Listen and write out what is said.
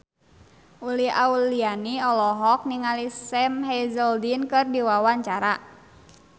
Uli Auliani olohok ningali Sam Hazeldine keur diwawancara